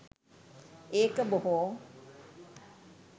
ඒක බොහෝ.